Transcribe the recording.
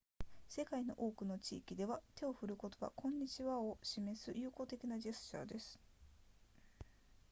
世界の多くの地域では手を振ることはこんにちはを示す友好的なジェスチャーです